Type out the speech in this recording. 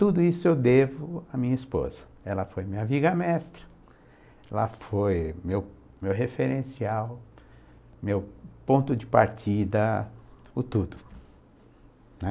Tudo isso eu devo à minha esposa, ela foi minha viga-mestra, ela foi meu meu referencial, meu ponto de partida, o tudo, né?